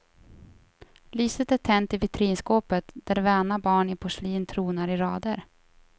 Lyset är tänt i vitrinskåpet där väna barn i porslin tronar i rader.